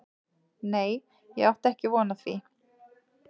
Nei ég átti ekki von á því.